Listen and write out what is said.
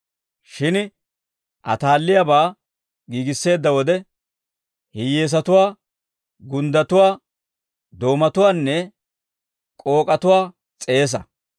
Shin ataalliyaabaa giigisseedda wode, hiyyeesatuwaa, gunddatuwaa, doomatuwaanne k'ook'atuwaa s'eesa.